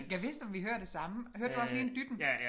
Gad vidst om vi hører det samme hørte du også lige en dytten?